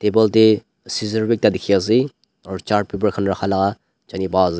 table te scissor bi ekta dikhi ase aru chart paper khan rakhala ase.